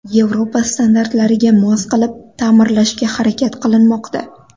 Yevropa standartlariga mos qilib ta’mirlashga harakat qilinmoqda.